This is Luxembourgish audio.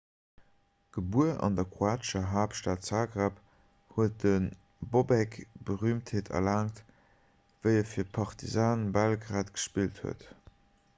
gebuer an der kroatescher haaptstad zagreb huet de bobek berüümtheet erlaangt wéi e fir partizan belgrad gespillt huet